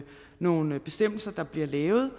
nogle bestemmelser der bliver lavet